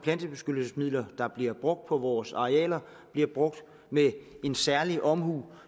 plantebeskyttelsesmidler der bliver brugt på vores arealer bliver brugt med en særlig omhu